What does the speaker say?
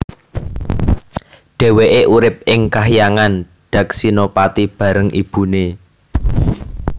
Dhèwèké urip ing Kahyangan Daksinapati bareng ibuné